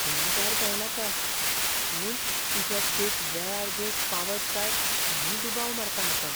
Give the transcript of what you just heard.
रागार जायनाका, पूण तुजो केक वेळार दिवंक पावत काय म्हूण दुबाव मारता म्हाका.